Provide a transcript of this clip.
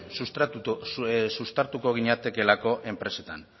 zuztartuko ginatekeelako enpresetan